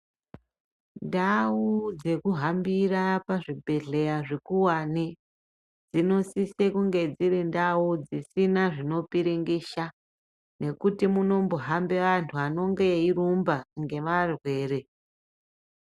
Ndau dzekuhambira pazvibhedhleya zvikuwani dzinosise kunge dzirindau dzisina zvinopiringisha nekuti munombohambe antu anonge eirumbu ngemarwere.